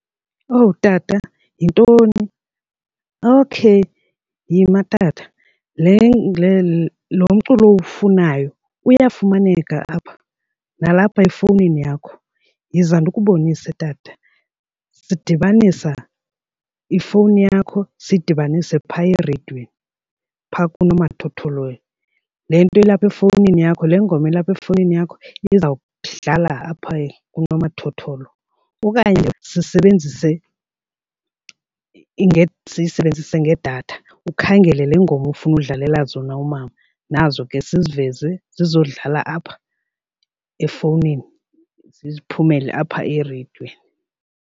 Owu tata! Yintoni? Okay, yima tata lo mculo awufunayo uyafumaneka apha nalapha efowunini yakho. Yiza ndikubonise, tata, sidibanisa ifowuni yakho siyidibanise phaya ereyidweni phaa kunomathotholo. Le nto ilapha efowunini yakho le ngoma ilapha efowunini yakho iza kudlala apha kunomathotholo okanye sisebenzise siyisebenzise ngedatha ukhangele le ngoma ufuna udlalela zona umama nazo ke siziveze sizodlala apha efowunini, ziziphumele apha ereyidweni.